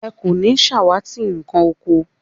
Ẹ kò ní ṣàwátì nkàn oko